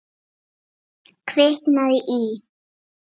Kviknað í.